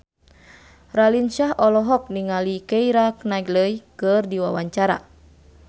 Raline Shah olohok ningali Keira Knightley keur diwawancara